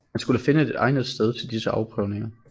Man skulle finde et egnet sted til disse afprøvninger